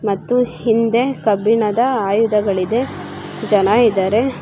ಮತ್ತು ಹಿಂದೆ ಕೆಬ್ಬಿಣ್ಣದ ಆಯುಧಗಳಿದೆ ಜನ ಇದ್ದಾರೆ .